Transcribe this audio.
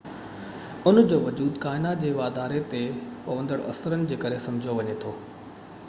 ان جو وجود ڪائنات جي واڌاري تي پوندڙ اثرن جي ڪري سمجهيو وڃي ٿو